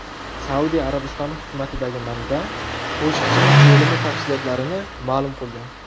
Saudiya Arabistoni hukumatidagi manba Qoshiqchining o‘limi tafsilotlarini ma’lum qildi.